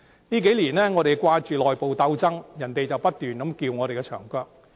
這數年來，我們只顧着內部鬥爭，卻不斷被人"撬牆腳"。